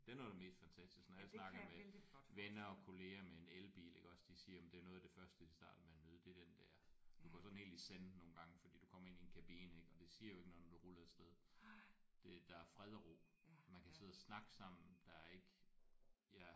Det er noget af det mest fantastiske når jeg snakker med venner og kollegaer med en elbil iggås de siger jamen det er noget af det første de starter med at nyde det er den der. Du går sådan helt i zen nogle gange for du kommer ind i en kabine ik og det siger jo ikke noget når du ruller afsted. Det der fred og ro. Man kan sidde og snakke sammen der er ikke